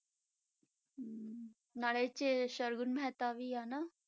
ਨਾਲੇ ਇਹ 'ਚ ਸਰਗੁਣ ਮਹਿਤਾ ਵੀ ਆ ਨਾ?